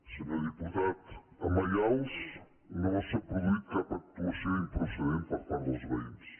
senyor diputat a maials no hi ha hagut cap actuació improcedent per part dels veïns